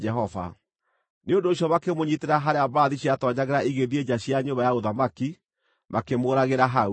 Nĩ ũndũ ũcio makĩmũnyiitĩra harĩa mbarathi ciatoonyagĩra igĩthiĩ nja cia nyũmba ya ũthamaki, makĩmũũragĩra hau.